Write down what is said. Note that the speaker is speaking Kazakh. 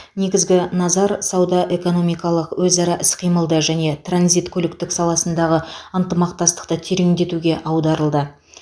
негізгі назар сауда экономикалық өзара іс қимылды және транзит көліктік саласындағы ынтымақтастықты тереңдетуге аударылды